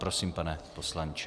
Prosím, pane poslanče.